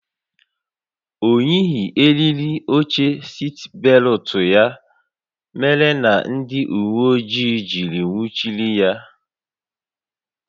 O yighị eriri oche sitbelụtụ ya mere na ndị uwe ojii jiri nwụchiri ya